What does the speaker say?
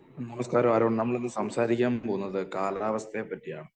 നമസ്കാരം ആരോൺ , നമ്മളിന്നു സംസാരിക്കാൻ പോകുന്നത് കാലാവസ്ഥയെ പറ്റിയാണ്